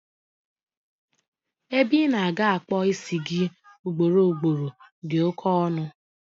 Ebe ina-aga akpu isi gi ị ugboro ugboro di oké ọnụ